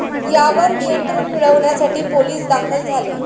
यावर नियंत्रण मिळवण्यासाठी पोलीस दाखल झाले.